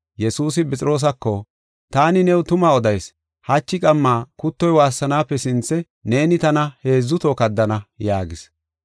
Yesuusi Phexroosako, “Taani new tuma odayis; hachi qamma kuttoy waassanaape sinthe neeni tana heedzu toho kaddana” yaagis.